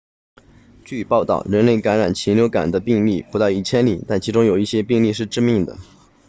据报道人类感染禽流感的病例不到一千例但其中有一些病例是致命的